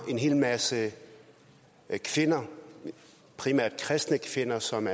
en hel masse kvinder primært kristne kvinder som